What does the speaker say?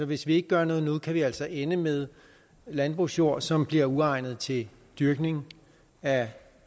hvis vi ikke gør noget nu kan vi altså ende med landbrugsjord som bliver uegnet til dyrkning af